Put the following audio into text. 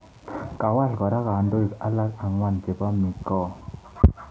Kawal kora kandoik alak angwan cbepo mikoa